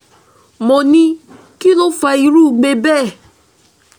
mo ní kí ló fa irú igbe bẹ́ẹ̀